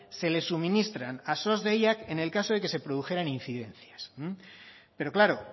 se le suministran a sos deiak en el caso de que se produjeran incidencias pero claro